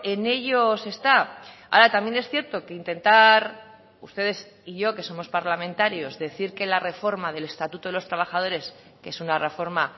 en ello se está ahora también es cierto que intentar ustedes y yo que somos parlamentarios decir que la reforma del estatuto de los trabajadores que es una reforma